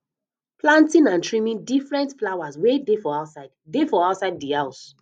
planting and trimming different flowers wey dey for outside dey for outside di house